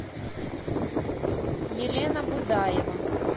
елена будаева